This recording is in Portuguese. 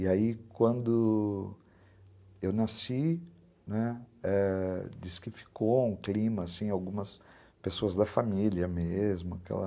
E aí, quando eu nasci, né, disse que ficou um clima, algumas pessoas da família mesmo, aquela